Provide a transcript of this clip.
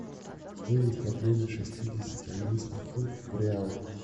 стоимость обмена шестидесяти английских фунтов в реалы